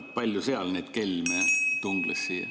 Kui palju seal neid kelme tungles?